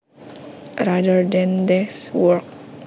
rather than desk work